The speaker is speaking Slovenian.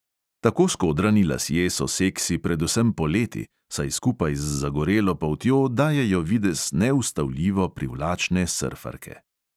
Tako skodrani lasje so seksi predvsem poleti, saj skupaj z zagorelo poltjo dajejo videz neustavljivo privlačne srfarke.